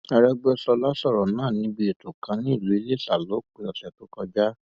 arẹgbẹsọla sọrọ náà níbi ètò kan nílùú iléṣà lópin ọsẹ tó kọjá